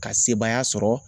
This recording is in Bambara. Ka sebaaya sɔrɔ